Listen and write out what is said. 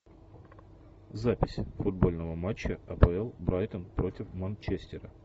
запись футбольного матча апл брайтон против манчестера